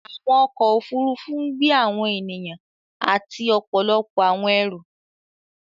Awọn ọkọ̀ òfurufú ń gbẹ awọn ènìyàn àti ọpọlọpọ̀ awọn ẹ̀rú.